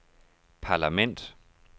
parlament